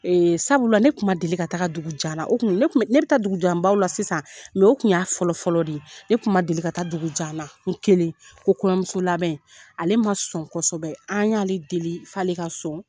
sabula ne tun ma deli ka taga dugu jan na, o kun ne bi taa dugu janbaw la sisan o kun y'a fɔlɔ fɔlɔ de ye, ne kun ma deli ka taa dugu jan na, n kelen ko kɔɲɔnmuso labɛn, ale ma sɔn kosɛbɛ, an y'ale deli f'ale ka sɔn.